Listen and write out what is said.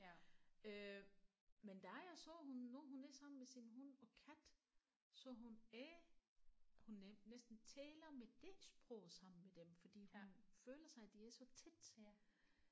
Øh men da jeg så hun når hun er sammen med sin hund og kat så hun ae hun næsten taler med det sprog sammen med dem fordi hun føler sig de er så tæt